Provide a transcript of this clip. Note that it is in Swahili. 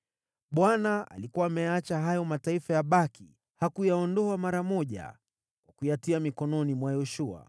Bwana alikuwa ameyaacha hayo mataifa yabaki; hakuyaondoa mara moja kwa kuyatia mikononi mwa Yoshua.